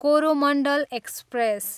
Coromandel express